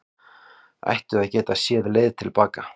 Ættu að geta séð leið til baka